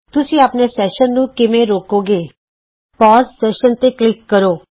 ਤੁਸੀਂ ਆਪਣੇ ਸੈਸ਼ਨ ਨੂੰ ਕਿਵੇਂ ਰੋਕੋਗੇ ਸੈਸ਼ਨ ਰੋਕੋ ਤੇ ਕਲਿਕ ਕਰੋ